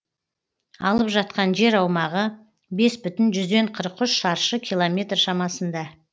алып жатқан жер аумағы бес бүтін жүзден қырық үш шаршы километр шамасында